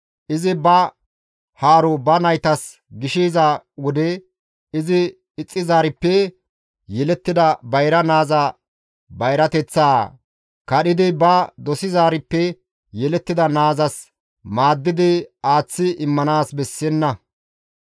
izi ba haaro ba naytas gishiza wode izi ixxizaarippe yelettida bayra naaza bayrateththaa kadhidi ba dosizaarippe yelettida naazas maaddidi aaththi immanaas bessenna.